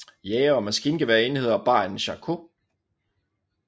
Jægere og maskingeværenheder bar en chakot